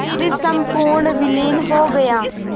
फिर संपूर्ण विलीन हो गया